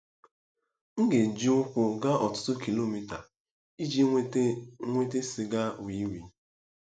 M ga-eji ụkwụ gaa ọtụtụ kilomita iji nweta nweta sịga wii wii